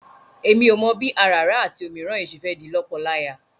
Èmi ò mọ̀ bí àràrá àti òmíràn yìí ṣe fẹ́ di lọ́kọláya.